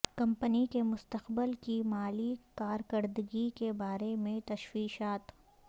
company کے مستقبل کی مالی کارکردگی کے بارے میں تشویشات